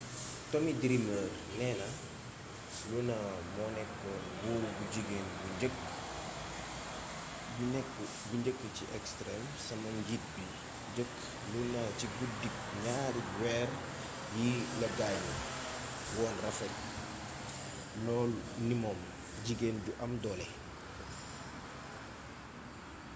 tommy dreamer néna luna moonékkoon buur bu jigeen bi njëkk ci extreme sama njiit bi njeekk luna ci guddik gnaari wéér yi la gaañu woon rafet lool ni moom jiggén ju am doolé